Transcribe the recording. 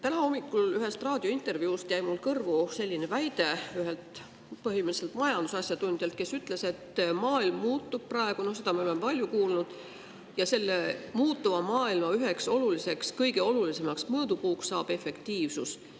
Täna hommikul jäi mulle ühest raadiointervjuust kõrvu selline väide, mille ütles üks majandusasjatundja, et maailm muutub praegu – no seda me oleme palju kuulnud – ja selle muutuva maailma üheks kõige olulisemaks mõõdupuuks on efektiivsus.